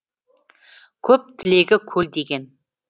көп тілегі көл деген